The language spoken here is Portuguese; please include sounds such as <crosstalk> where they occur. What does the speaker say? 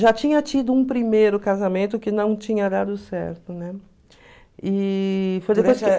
Já tinha tido um primeiro casamento que não tinha dado certo, né? E... <unintelligible>